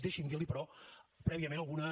deixi’m dir li però prèviament algunes